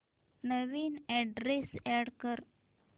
नवीन address add कर